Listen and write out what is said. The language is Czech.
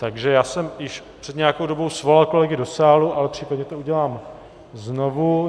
Takže já jsem již před nějakou dobou svolal kolegy do sálu, ale případně to udělám znovu.